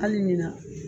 Hali ɲina